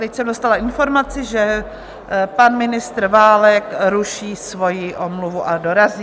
Teď jsem dostala informaci, že pan ministr Válek ruší svojí omluvu a dorazí.